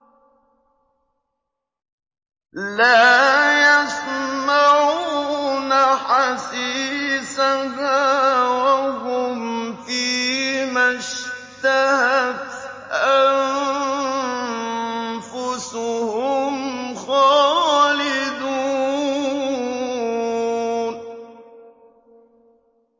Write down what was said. لَا يَسْمَعُونَ حَسِيسَهَا ۖ وَهُمْ فِي مَا اشْتَهَتْ أَنفُسُهُمْ خَالِدُونَ